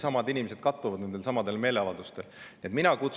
Ja osa inimesi isegi kattub nendel ja meeleavaldustel.